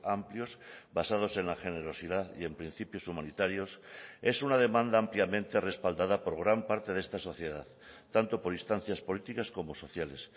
amplios basados en la generosidad y en principios humanitarios es una demanda ampliamente respaldada por gran parte de esta sociedad tanto por instancias políticas como sociales